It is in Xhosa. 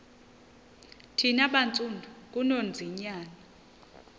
thina bantsundu ngunonzinyana